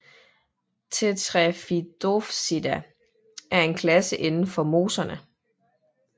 Tetraphidopsida er en klasse inden for mosserne